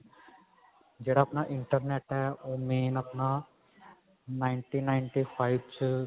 ਜਿਹੜਾ ਆਪਣਾ internet ਹੈ ਉਹ main ਆਪਣਾ ninety ninety five ਚ